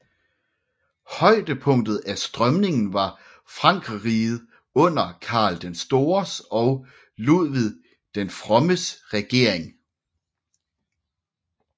Højdepunktet af strømningen var i Frankerriget under Karl den Stores og Ludvig den Frommes regering